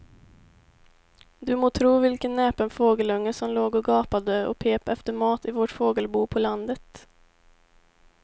Du må tro vilken näpen fågelunge som låg och gapade och pep efter mat i vårt fågelbo på landet.